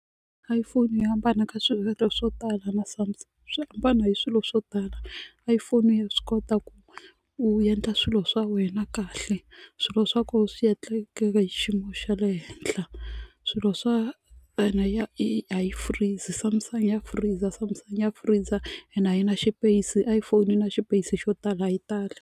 iPhone yi hambana ka swiendlo swo tala na Samsung swi hambane hi swilo swo tala iPhone ya swi kota ku u endla swilo swa wena kahle swilo swa kona swi endlekeke hi xiyimo xa le henhla swilo swa ya a yi freeze Samsung ya freezer Samsung ya freezer and a yina xipeyisi iphone yi na xipeyisi xo tala a yi tali.